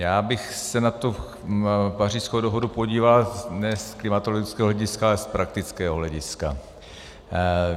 Já bych se na tu Pařížskou dohodu podíval ne z klimatologického hlediska, ale z praktického hlediska.